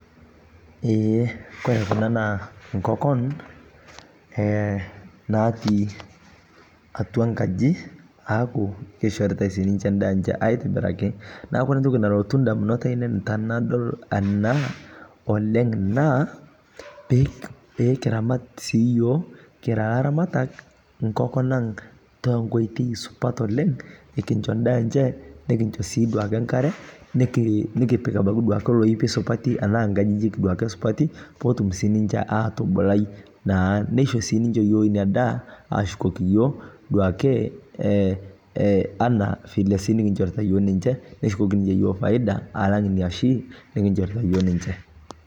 Eeh kore kuna naa nkokon natii atua nkajii aaku keishoritai sii ninshe ndaa enche aitibbiraki naaku kore ntoki nalotu ndamunot ainen tanadol anaa oleng' naa piikiramat sii yoo kira laramatak nkokon ang' tenkoitei supat oleng' ikincho ndaa enche nikincho sii duake nkare nikipik abaki duake loipii supatii tanaa duake nkajijik duake supatii peetum sii ninshe atubulai naa neisho sii yoo ninshe inia daa ashukokii yooh duake ana vile sii nikinshorita yooh ninshe neshukokii ninshe yooh faida alang inia shii nikinshorita yooh ninche.